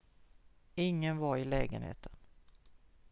ingen var i lägenheten